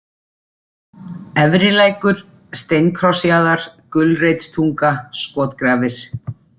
Efrilækur, Steinkrossjaðar, Gulreitstunga, Skotgrafir